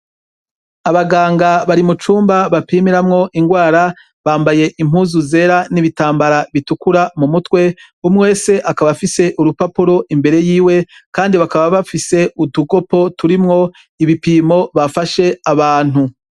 Abaganga bari mu cumba bapimiramwo ingwara bambaye impuzu zera n'ibitambara bitukura mu mutwe umwese akaba afise urupapuro imbere yiwe, kandi bakaba bafise udugopo turimwo ibipimo bafashe abantu.